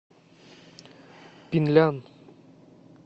пинлян